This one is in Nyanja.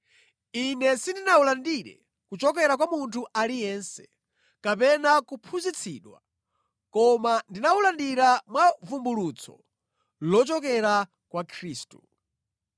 Ine sindinawulandire kuchokera kwa munthu aliyense, kapena kuphunzitsidwa; koma ndinawulandira mwa vumbulutso lochokera kwa Khristu.